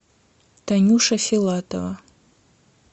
танюша филатова